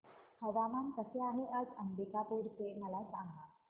हवामान कसे आहे आज अंबिकापूर चे मला सांगा